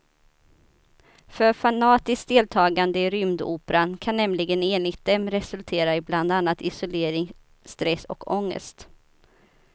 För fanatiskt deltagande i rymdoperan kan nämligen enligt dem resultera i bland annat isolering, stress och ångest.